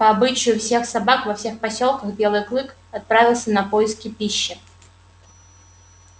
по обычаю всех собак во всех посёлках белый клык отправился на поиски пищи